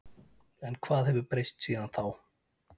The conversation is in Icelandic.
En hvað hefur breyst síðan þá?